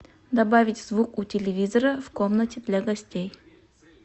добавить звук у телевизора в комнате для гостей